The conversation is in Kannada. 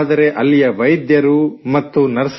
ಆದರೆ ಅಲ್ಲಿಯ ವೈದ್ಯರು ಮತ್ತು ಸುಶ್ರೂಷಕರು